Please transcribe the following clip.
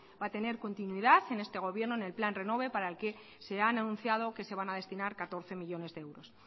va a tener continuidad en este gobierno en el plan renove para el que se han anunciado que se van a destinar catorce millónes de euros